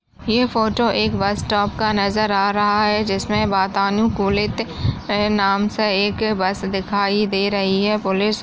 ये फोटो एक bus stop का नजर आ रहा है जिसमे वातानुकूलित ये नाम से एक बस दिखाई दे रही है पुलिस--